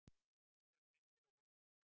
Meistarinn missir af holukeppninni